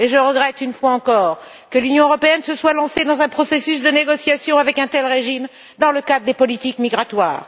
Je regrette une fois encore que l'Union européenne se soit lancée dans un processus de négociation avec un tel régime dans le cadre des politiques migratoires.